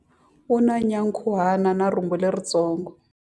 U na nyankhuhana na rhumbu leritsongo.